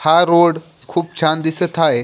हा रोड खूप छान दिसत आहे.